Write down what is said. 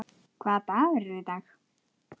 Hvaða dagur er í dag?